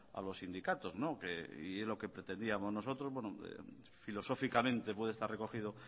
a los sindicatos y es lo que pretendíamos nosotros filosóficamente puede estar recogido